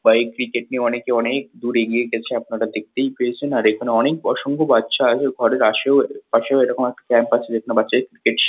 বা এই ক্রিকেট নিয়ে অনেকে অনেকদূর এগিয়ে গেছে আপনারা দেখতেই পেয়েছেন। আর এখানে অনেক অসংখ্য বাচ্চা আছে ঘরের আশেও পাশেও এরকম একটা ক্যাম্প আছে। যেখানে বাচ্চাদের ক্রিকেট শে--